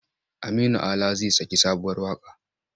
Aminu Ala zai saki sabuwar waƙa.